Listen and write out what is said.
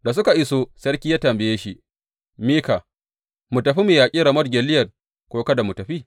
Da suka iso, sarki ya tambaye shi, Mika, mu tafi mu yaƙi Ramot Gileyad, ko kada mu tafi?